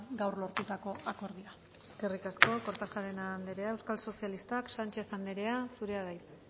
gaur lortutako akordioa eskerrik asko kortajarena anderea euskal sozialistak sánchez anderea zurea da hitza